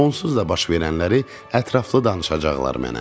Onsuz da baş verənləri ətraflı danışacaqlar mənə.